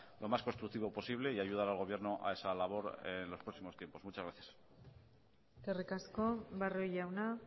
lo más constructivo posible y ayudar al gobierno a esa labor en los próximos tiempos muchas gracias eskerrik asko barrio jauna